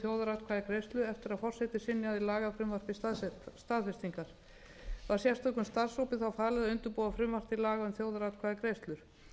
þjóðaratkvæðagreiðslu eftir að forseti synjaði lagafrumvarpi staðfestingar var sérstökum starfshópi þá falið að undirbúa frumvarp til laga um þjóðaratkvæðagreiðslur